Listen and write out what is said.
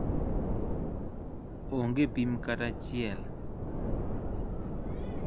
Onge pim kata achiel.